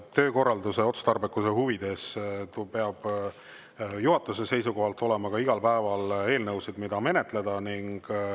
Töökorralduse otstarbekuse huvides peab juhatuse seisukohalt olema igal päeval eelnõusid, mida menetleda.